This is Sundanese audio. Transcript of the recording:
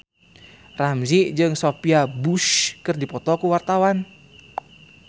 Ramzy jeung Sophia Bush keur dipoto ku wartawan